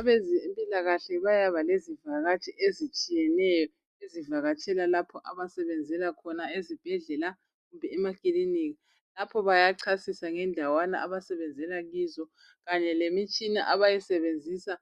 Abezempilakahle bayaba lezivakatshi ezitshiyeneyo ezivakatshela lapho abasebenzela khona. Ezibhedlela kumbe emakilinika. Lapho bayachasisa ngendawana abasebenzela kizo, kanye lemikhuhlane abayisebenzisa